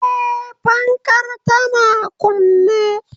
Eh, fankar tana kunne